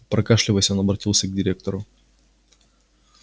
прокашлявшись он обратился к директору